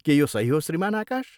के यो सही हो, श्रीमान आकाश?